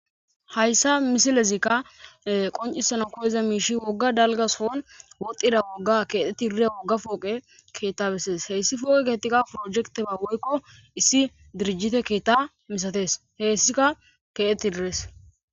Hayissa misilezzikka qonnicisanaka koyiza mishshi woga daliga so'onni botiza woga kexxetidi diya woga poqe keta besses heyissa poqe ketayi porejeketabba woyikko issi dirijite keta misates. Hessikka ketetide dees.